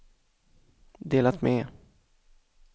delat med